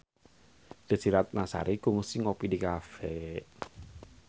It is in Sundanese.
Desy Ratnasari kungsi ngopi di cafe